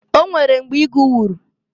O nwere mgbe igu wuru.